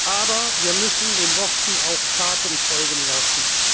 sie. Aber wir müssen den Worten auch Taten folgen lassen.